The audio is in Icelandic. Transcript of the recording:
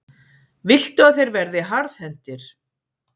Viltu að þeir verði harðhentir?